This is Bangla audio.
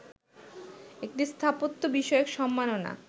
একটি স্থাপত্য বিষয়ক সম্মাননা